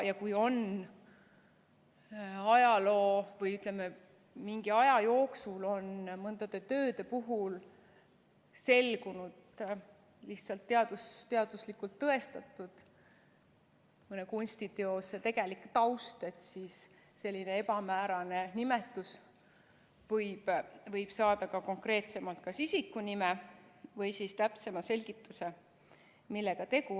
Ja kui ajaloos või, ütleme, mingi aja jooksul on mõne töö puhul selgunud, lihtsalt teaduslikult tõestatud mõne kunstiteose tegelik taust, siis sellise ebamäärase nimetuse võib saada ka konkreetsemalt kas isiku nime või siis täpsema selgituse, millega tegu.